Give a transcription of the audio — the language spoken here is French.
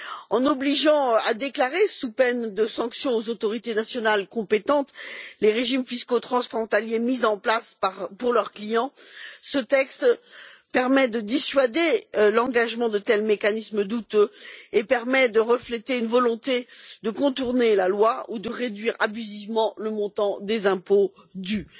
En obligeant à déclarer, sous peine de sanctions, aux autorités nationales compétentes les régimes fiscaux transfrontaliers mis en place pour leurs clients, ce texte permet de dissuader la mise en œuvre de tels mécanismes douteux qui reflètent une volonté de contourner la loi ou de réduire abusivement le montant des impôts dus.